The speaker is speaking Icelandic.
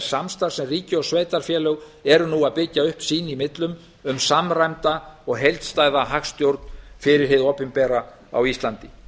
samstarfs sem ríki og sveitarfélög eru nú að byggja upp sín í millum um samræmda og heildstæða hagstjórn fyrir hið opinbera á íslandi